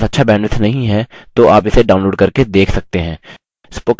यदि आपके पास अच्छा bandwidth नहीं है तो आप इसे download करके देख सकते हैं